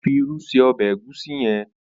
Ó fi irú ṣe ọbẹ Egusi yen.